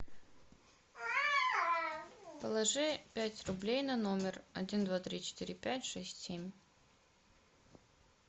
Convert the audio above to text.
положи пять рублей на номер один два три четыре пять шесть семь